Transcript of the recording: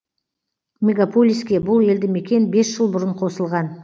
мегаполиске бұл елді мекен бес жыл бұрын қосылған